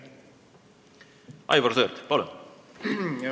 Aivar Sõerd, palun!